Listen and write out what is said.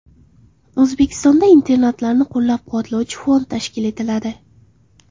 O‘zbekistonda internatlarni qo‘llab-quvvatlovchi fond tashkil etiladi.